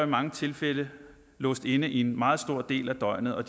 mange tilfælde låst inde i en meget stor del af døgnet og